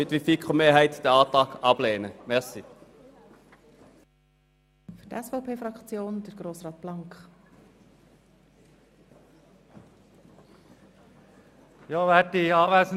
Wie die FiKo-Mehrheit wird auch die SP-JUSO-PSA-Fraktion diesen Antrag ablehnen.